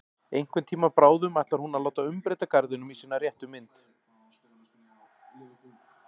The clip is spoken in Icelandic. Einhvern tíma bráðum ætlar hún að láta umbreyta garðinum í sína réttu mynd.